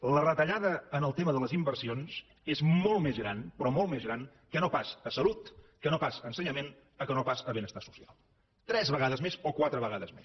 la retallada en el tema de les inversions és molt més gran però molt més gran que no pas a salut que no pas a ensenyament que no pas a benestar social tres vegades més o quatre vegades més